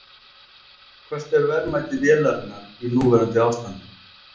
Hvert er verðmæti vélarinnar í núverandi ástandi?